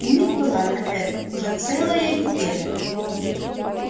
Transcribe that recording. у них была на это уже целая неделя